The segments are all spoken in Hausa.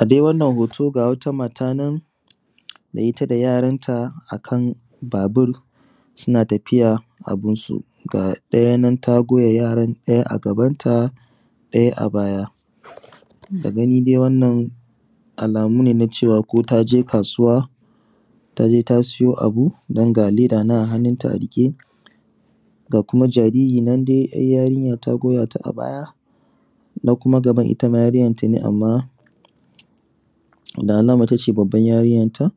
A dai wannan hoto ga wata mata nan da ita da yaran ta akan babur suna tafiya a bunsu. Ga ɗaya nan ta goya yaran ɗaya a gaban ta ɗaya a baya da gani dai wannan alamu ne cewa ko taje kasuwa taje tasai abu dang a leda nan a hannun ta a riƙe ga kuma jariri nan ‘yar’ yarinya ta goya ta abaya na kuma gaban ittama yarinyan tane amma da alama ita ce abban yarinyanta.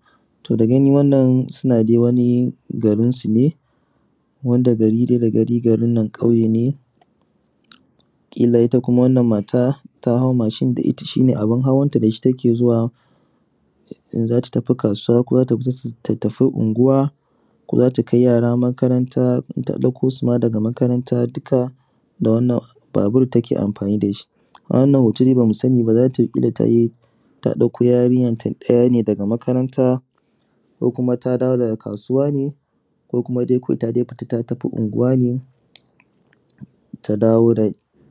To dagani wannan suna dai garinsu ne wanda da gani wannan gari ƙauye ne kila ita kuma wannan mata tahau mashin dashiki shine abun hawanta in zata tafi kasuwa ko zata tafi unguwa ko zata kai yara makaranta da ɗauko suma daga makaranta duka da wannan babur take amfani dashi. A wannan hoto dai bamu saniba zata fita tai ta ɗauko yarinyanta ɗaya daga makaranta ko kuma ta dawo daga kasuwa ne ko kuma dai ta dawo daga unguwa ne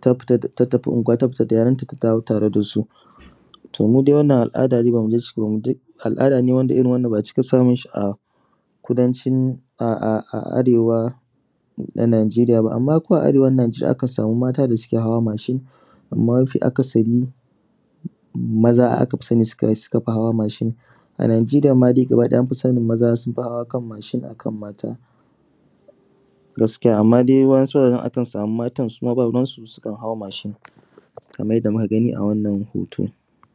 tafita unguwa tafita da yaran ta ta dawo dasu. To mudai wannan al’ada al’ada ne da bamu cika samunshi a kudancin a Arewan najeriya ba amma ko a Arewan anjeriya akan samu mata dasuke hawa mashin amma mafi akasari maza aka sani sukafi hawa mashin, a najeriya dama gaba ɗaya maza akafi sani sunfi hawa kan mashin akan mata gaskiya ama dai wadan su guraren akan mata sukan hau mashin babu ruwansu Kaman yadda muka gani a wannan hoto.